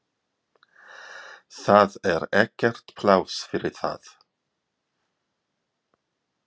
Það er ekkert pláss fyrir það.